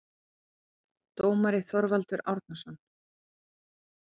Dómari: Þorvaldur Árnason